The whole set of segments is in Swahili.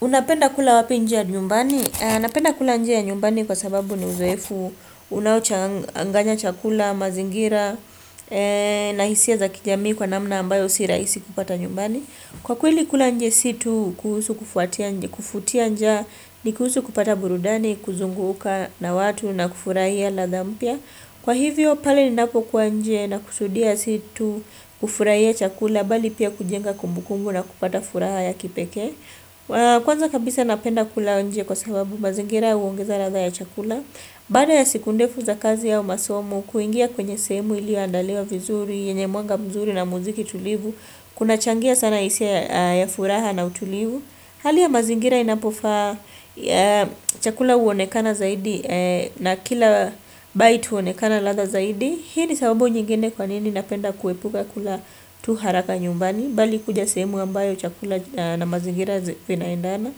Unapenda kula wapi nje ya nyumbani? Napenda kula nje ya nyumbani kwa sababu ni uzoefu unaochanganya chakula, mazingira, na hisia za kijamii kwa namna ambayo si rahisi kupata nyumbani. Kwa kweli kula nje si tu, kufutia njaa, ni kuhusu kupata burudani, kuzunguka na watu, na kufurahia lladha mpya. Kwa hivyo pale ninapo kuwa nje nakusudia si tu, kufurahia chakula, bali pia kujenga kumbukumbu na kupata furaha ya kipekee. Kwanza kabisa napenda kula nje kwa sababu mazingira huongeza ladha ya chakula Baada ya siku ndefu za kazi au masomo kuingia kwenye sehemu iliyoandaliwa vizuri yenye mwanga mzuri na muziki tulivu Kunachangia sana hisia ya furaha na utulivu Hali ya mazingira inapofaa chakula huonekana zaidi na kila bite huonekana ladha zaidi Hii ni sababu nyingine kwa nini napenda kuepuka kula tu haraka nyumbani bali kuja sehemu ambayo chakula na mazingira vinaendana.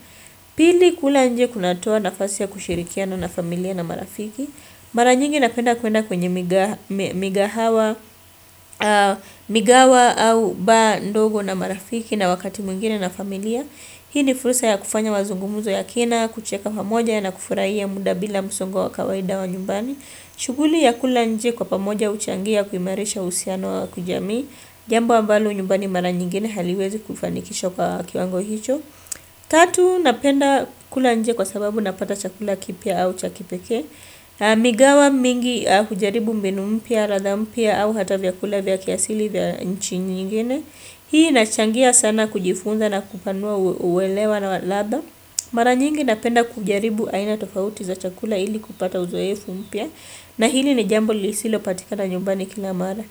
Pili kula nje kunatoa nafasi ya kushirikiano na familia na marafiki. Mara nyingi napenda kwenda kwenye migahawa, migahawa au bar ndogo na marafiki na wakati mwingine na familia. Hii ni furusa ya kufanya mazungumuzo ya kina, kucheka pamoja na kufurahia muda bila musongo wa kawaida wa nyumbani. Shuguli ya kula nje kwa pamoja huchangia kuimarisha uhusiano wa kijamii. Jambo ambalo nyumbani mara nyingine haliwezi kufanikishwa kwa kiwango hicho Tatu napenda kula nje kwa sababu napata chakula kipya au cha kipekee Migahawa mingi hujaribu mbinu mpya ladha mpya au hata vyakula vya kiasili vya nchi nyingine Hii inachangia sana kujifunza na kupanua uelewa na ladha Mara nyingi napenda kujaribu aina tofauti za chakula ili kupata uzoefu mpya na hili ni jambo lisilopatikana nyumbani kila mara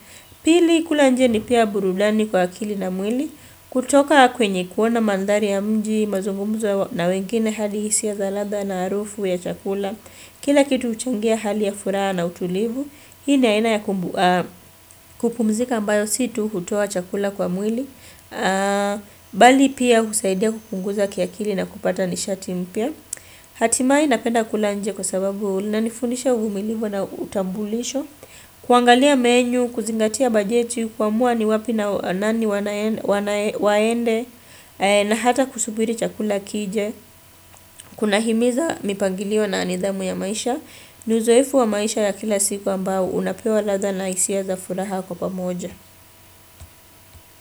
Pili kula nje ni pia burudani kwa akili na mwili. Kutoka kwenye kuona mandhari ya mji, mazungumzo na wengine halihalisi ya ladha na harufu ya chakula. Kila kitu huchangia hali ya furaha na utulivu. Hii ni aina ya kupumzika mbayo si tu hutoa chakula kwa mwili. Bali pia husaidia kupunguza kiakili na kupata nishati mpya hatimaye napenda kula nje kwa sababu inanifundisha uvumilivu na utambulisho kuangalia menu, kuzingatia bajeti, kuamua ni wapi nani waende na hata kusubiri chakula kije kuna himiza mipangilio na nidhamu ya maisha ni uzoefu wa maisha ya kila siku ambao unapewa ladha na hisia za furaha kwa pamoja.